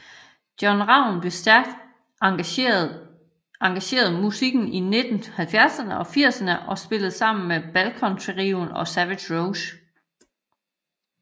John Ravn blev stærkt engageret musikken i 1970erne og 1980erne og spillede sammen med Balkan trioen og Savage Rose